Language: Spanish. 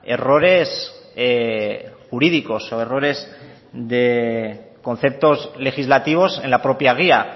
errores jurídicos o errores de conceptos legislativos en la propia guía